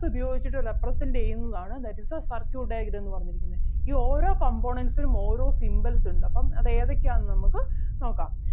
ഉപയോഗിച്ചിട്ട് represent ചെയ്യുന്നതാണ് that is the circuit diagram എന്ന് പറഞ്ഞിരിക്കുന്നേ. ഈ ഓരോ components നും ഓരോ symbols ഉണ്ട് അപ്പം അത് ഏതൊക്കെ ആണെന്ന് നമുക്ക് നോക്കാം